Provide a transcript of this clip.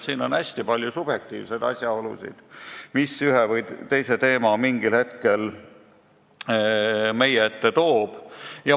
On hästi palju subjektiivseid asjaolusid, miks üks või teine teema mingil hetkel meie ette tuleb.